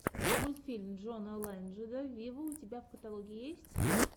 мультфильм джона ледженда виво у тебя в каталоге есть